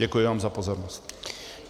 Děkuji vám za pozornost.